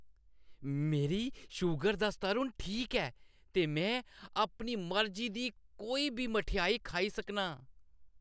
मेरी शूगर दा स्तर हून ठीक ऐ ते में अपनी मर्जी दी कोई बी मठेआई खाई सकनां।